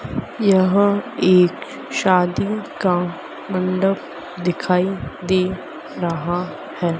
यहां एक शादी का मंडप दिखाई दे रहा है।